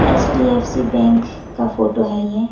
HDFC bank का photo है ये।